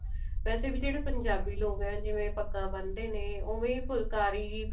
ਵੇਸੇ ਵੀ ਜਿਹੜੇ ਪੰਜਾਬੀ ਲੋਕ ਆ ਜਿਵੇਂ ਪੱਗਾ ਬੰਨਦੇ ਨੇ ਓਵੇਂ ਫੁਲਕਾਰੀ ਵੀ